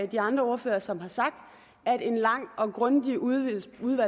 de andre ordførere som har sagt at en lang og grundig udvalgsbehandling